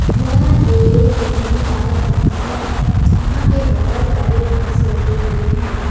यह एक बिल्डिंग का दृश्य है यहां पे बहुत सारे बांस लगे हुए है।